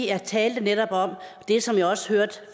jeg talte netop om det som jeg også hørte